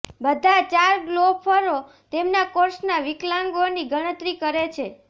બધા ચાર ગોલ્ફરો તેમના કોર્સના વિકલાંગોની ગણતરી કરે છે